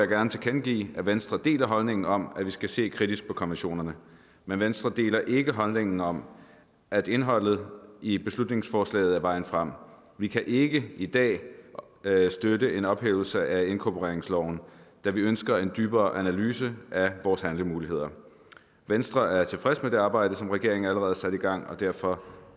gerne tilkendegive at venstre deler holdningen om at vi skal se kritisk på konventionerne men venstre deler ikke holdningen om at indholdet i beslutningsforslaget er vejen frem vi kan ikke i dag støtte en ophævelse af inkorporeringsloven da vi ønsker en dybere analyse af vores handlemuligheder venstre er tilfreds med det arbejde som regeringen allerede har sat i gang og derfor